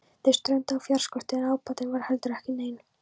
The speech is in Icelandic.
Þeir strönduðu á fjárskorti en ábatinn var heldur ekki neinn.